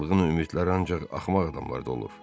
Çılğın ümidlər ancaq axmaq adamlarda olur.